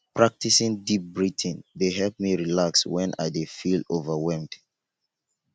practicing deep breathing dey help me relax wen i dey feel overwhelmed